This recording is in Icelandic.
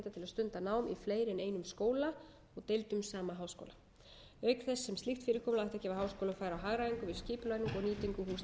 stunda nám í fleiri en einum skóla og deildum sama háskóla auk þess sem slíkt fyrirkomulag ætti að gefa háskólum færi á hagræðingu við skipulagningu og nýtingu húsnæðis